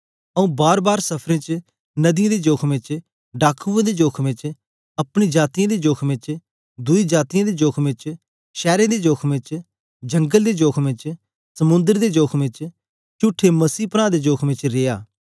आंऊँ बारबार सफरें च नदियें दे जोखमें च डाकुऐं दे जोखमें च अपने जातीयें दे जोखमें च दुई जातीयें दे जोखमें च शैरें दे जोखमें च जंगल दे जोखमें च समुंद्र दे जोखमें च चुठे मसीह प्रां दे जोखमें च रिया